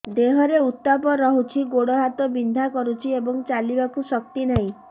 ଦେହରେ ଉତାପ ରହୁଛି ଗୋଡ଼ ହାତ ବିନ୍ଧା କରୁଛି ଏବଂ ଚାଲିବାକୁ ଶକ୍ତି ନାହିଁ